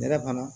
Nɛrɛ fana